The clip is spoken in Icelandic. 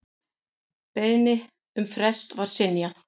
Beiðni um frest var synjað.